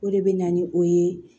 O de bɛ na ni o ye